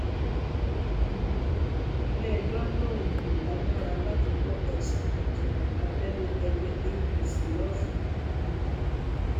um iléẹjọ lòun kò lágbára láti gbọ ẹsùn ìdìbò abẹlé ẹgbẹ apc lọsùn um